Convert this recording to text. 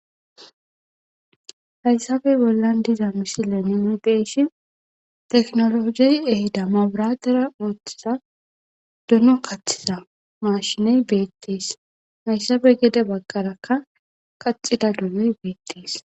hayssabey bollan diza misile nine deeshi teknologey ehida maburatera ooththiza duno kathiza mashiney beettees hayssabey gede bagqarakka kaxida dunoy beettees